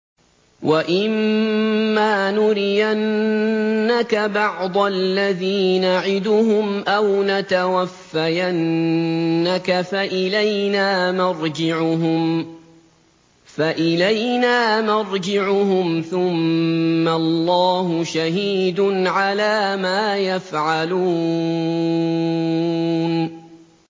وَإِمَّا نُرِيَنَّكَ بَعْضَ الَّذِي نَعِدُهُمْ أَوْ نَتَوَفَّيَنَّكَ فَإِلَيْنَا مَرْجِعُهُمْ ثُمَّ اللَّهُ شَهِيدٌ عَلَىٰ مَا يَفْعَلُونَ